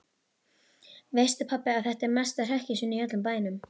Veistu pabbi að þetta eru mestu hrekkjusvínin í öllum bænum.